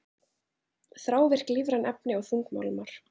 Þrávirk lífræn efni og þungmálmar